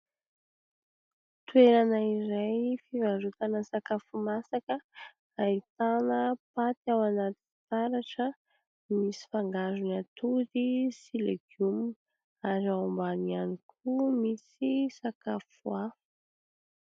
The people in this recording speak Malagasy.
Toerana iray fivarotana sakafo masaka ahitana paty ao anaty fitaratra, misy fangarony atody sy legioma ary ao ambany ihany koa misy sakafo hafa.